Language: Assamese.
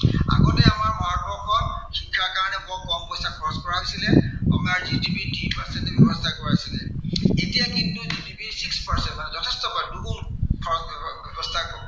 শিক্ষাৰ কাৰনে বৰ কম পইচা খৰচ কৰা হৈছিলে। আমাৰ GDP ৰ তিনি percent ব্য়ৱহাৰ কৰা হৈছিলে। এতিয়া কিন্তু GDP six percent যথেষ্ট হয়, দুগুণ খৰচ